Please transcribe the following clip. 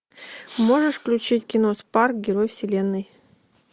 можешь включить кино спарк герой вселенной